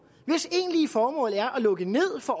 hvis egentlige formål er at lukke ned for